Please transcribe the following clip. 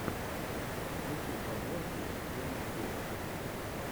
включи подборки дэвидгуд